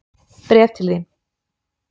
Bréf til þín.